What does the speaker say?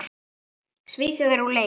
Svíþjóð er úr leik.